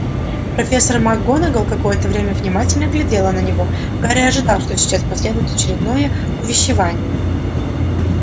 профессор макгонагалл какое-то время внимательно глядела на него гарри ожидал что сейчас последует очередное увещевание